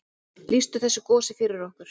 Lýstu þessu gosi fyrir okkur.